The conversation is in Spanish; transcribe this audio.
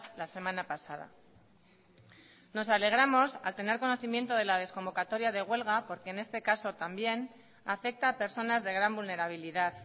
la semana pasada nos alegramos al tener conocimiento de la desconvocatoria de huelga porque en este caso también afecta a personas de gran vulnerabilidad